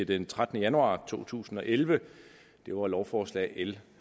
den trettende januar to tusind og elleve det var lovforslag l